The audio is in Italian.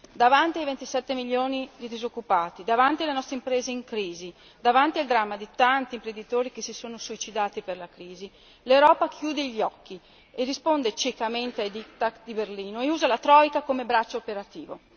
Davanti ai 27 milioni di disoccupati, davanti alle nostre imprese in crisi, davanti al dramma di tanti imprenditori che si sono suicidati per la crisi, l'Europa chiude gli occhi e risponde ciecamente ai diktat di Berlino e usa la troika come braccio operativo.